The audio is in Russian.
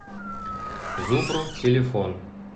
зубру телефон